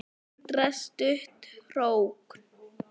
Hindrar stutta hrókun.